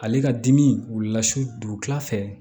Ale ka dimi wulila su dugukila fɛ